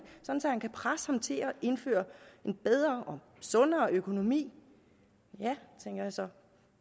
så han kan presse ham til at indføre en bedre og sundere økonomi ja tænker jeg så